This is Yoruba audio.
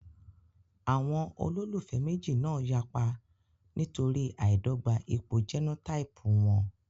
Àwọn olólùfẹ́ méjì náà yapa nítorí àìdọ́gba ipò jẹ́nótáípù wọn